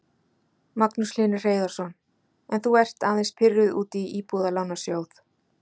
Magnús Hlynur Hreiðarsson: En þú ert aðeins pirruð út í Íbúðalánasjóð?